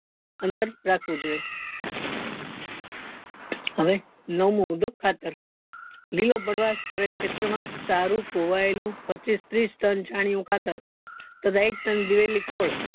અંતર રાખવું જોઈએ હવે નવમો મુદ્દો ખાતર લીલો પદ્વાસ કરેલ ખેતર માં સારું પોવાયેલું પચીસ ત્રીસ tan ખાતર તથા એક tan દ્વીવેલી ખોળ